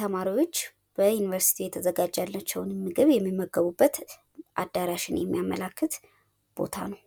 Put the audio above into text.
ተማሪዎችን በማነሳሳት፣ በመምራትና ዕውቀት እንዲገብዩ በማድረግ የትምህርት ስኬትን ማረጋገጥ ነው።